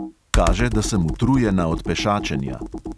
Kaže, da sem utrujena od pešačenja.